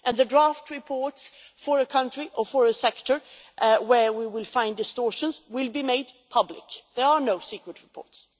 The draft reports for a country or for a sector where we find distortions will be made public there are no secret reports.